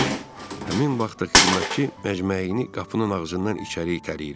Həmin vaxtı xidmətçi məcməyini qapının ağzından içəri itələyirmiş.